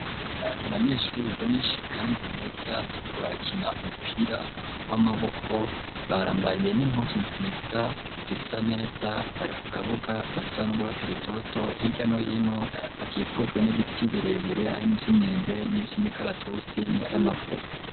Abanyeshuri benshi kandi beza bariko barakina umupira w'amaboko barambaye n'impuzu nsiza zisa neza bari ku kabuga gasa n'urwatsi rutoto hirya no hino hakikujwe n'ibiti birebire hari nivy'imyembe nivy'imikaratusi n'ivyamavoka.